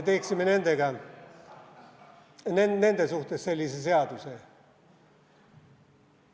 Teeksime nendega nende suhtes sellise seaduse.